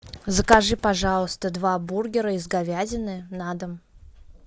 закажи пожалуйста два бургера из говядины на дом